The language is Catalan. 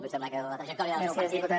em sembla que a la trajectòria del seu partit